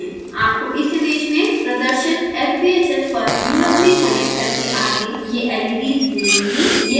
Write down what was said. आपको इस इमेज में प्रदर्शित sbhs पर usb कनेक्टर के आगे ये leds मिलेंगी